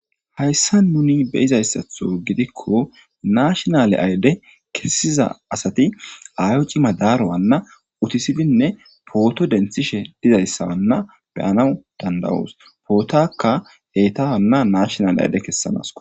Hayssa nuni be'izayssaththo gidikko nashshinalle ayde kessiza assati ayoo ciima daro hano utiisidinne potto denththishshe dizayssa Hana be'anaw danda'awus pootakka etta Hana nashshinalle ayde kessanasikko